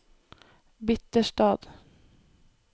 Bitterstad